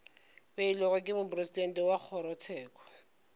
beilwego ke mopresidente wa kgorotsheko